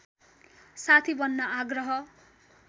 साथी बन्न आग्रह